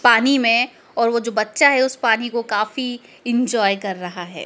पानी में और वो जो बच्चा है उस पानी को काफी इंजॉय कर रहा हैं।